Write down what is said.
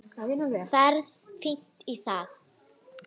Ferð fínt í það.